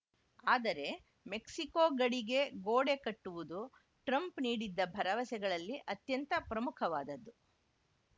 ಆದರೆ ಮೆಕ್ಸಿಕೋ ಗಡಿಗೆ ಗೋಡೆ ಕಟ್ಟುವುದು ಟ್ರಂಪ್‌ ನೀಡಿದ್ದ ಭರವಸೆಗಳಲ್ಲಿ ಅತ್ಯಂತ ಪ್ರಮುಖವಾದದ್ದು